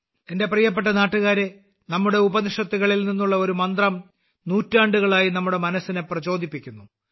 എന്റെ പ്രിയപ്പെട്ട ദേശവാസികളെ നമ്മുടെ ഉപനിഷത്തുകളിൽ നിന്നുള്ള ഒരു മന്ത്രം നൂറ്റാണ്ടുകളായി നമ്മുടെ മനസ്സിനെ പ്രചോദിപ്പിക്കുന്നു